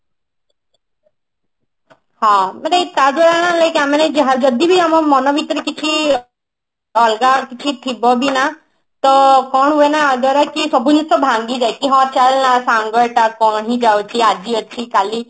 ହଁ ମାନେ କାହା ଯଦି ବି ଆମ ମନ ଭିତରେ କିଛି ଅଲଗା କିଛି ଥିବ ବି ନା ତ କଣ ହୁଏନା ସବୁ ଜିନିଷ ଭାଙ୍ଗି ଯାଏ କି ହଁ ଚାଲ ନା ସାଙ୍ଗ ଟା କାହିଁ ଯାଉଛି ଆଜି ଅଛି କାଲି